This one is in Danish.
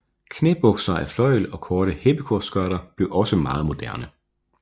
Knæbukser af fløjl og korte heppekorsskørter blev også meget moderne